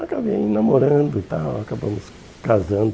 Acabei namorando e tal, acabamos casando.